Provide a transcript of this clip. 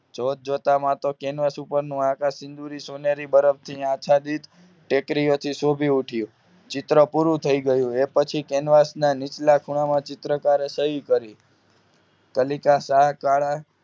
જોતજોતામાં તો કેનવાસ પર આકાશ સિંદુરી સોનેરી બરફ આચ્છાદિત ટેકરી થી શોભી ઉઠયું ચિત્ર પૂરું થઈ ગયું એ પછી કેનવાસ નીચલા ખુણા માં ચિત્રકારે સહી કરી કલીકા શાહ કાળા